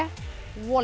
Wall